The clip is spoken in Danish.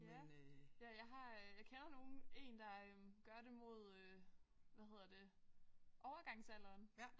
Ja. Ja jeg har øh jeg kender nogen en der øh gør det mod øh hvad hedder det overgangsalderen